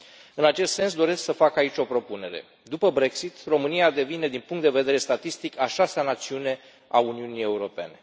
În acest sens, doresc să fac aici o propunere după Brexit, România devine din punct de vedere statistic a șasea națiune a Uniunii Europene.